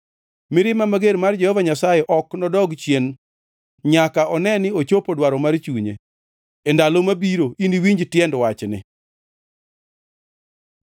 Mirima mager mar Jehova Nyasaye ok nodog chien nyaka one ni ochopo dwaro mar chunye. E ndalo ma biro iniwinj tiend wachni.